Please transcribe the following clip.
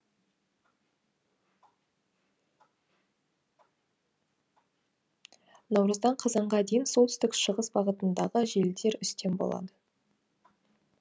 наурыздан қазанға дейін солтүстік шығыс бағытындағы желдер үстем болады